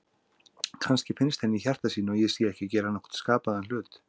Kannski finnst henni í hjarta sínu að ég sé ekki að gera nokkurn skapaðan hlut.